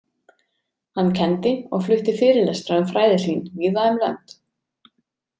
Hann kenndi og flutti fyrirlestra um fræði sín víða um lönd.